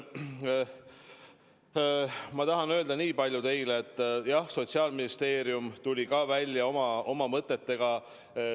Ma tahan öelda teile nii palju, et jah, Sotsiaalministeerium tuli ka oma mõtetega välja.